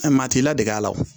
Ɛ maa t'i ladege la o